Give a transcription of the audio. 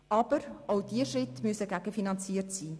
Aber auch diese Schritte müssen gegenfinanziert sein.